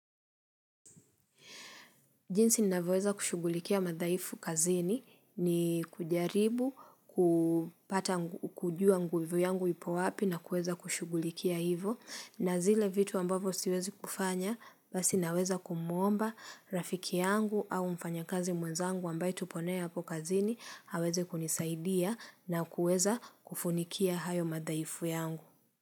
Jinsi ninaweweza kushugulikia madhaifu kazini ni kujaribu, kujua nguvu yangu ipo wapi na kueza kushugulikia hivo na zile vitu ambavyo siwezi kufanya basi naweza kumuomba rafiki yangu au mfanya kazi mwenzangu ambaye tupo naye hapo kazini aweze kunisaidia na kueza kufunikia hayo madhaifu yangu.